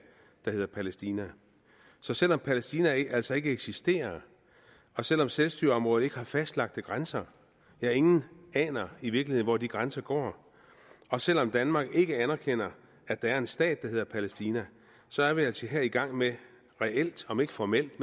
der hedder palæstina så selv om palæstina altså ikke eksisterer og selv om selvstyreområdet ikke har fastlagte grænser ja ingen aner i virkeligheden hvor de grænser går og selv om danmark ikke anerkender at der er en stat der hedder palæstina så er vi altså her i gang med reelt om ikke formelt